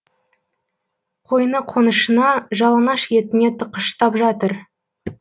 қойны қонышына жалаңаш етіне тыққыштап жатыр